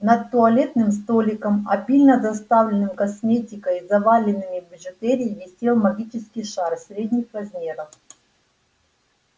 над туалетным столиком обильно заставленным косметикой и заваленными бижутерией висел магический шар средних размеров